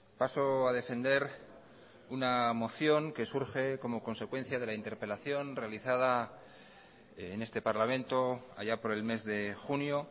paso a defender una moción que surge como consecuencia de la interpelación realizada en este parlamento allá por el mes de junio